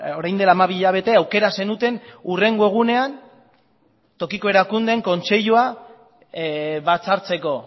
orain dela hamabi hilabete aukera zenuten hurrengo egunean tokiko erakundeen kontseilua batzartzeko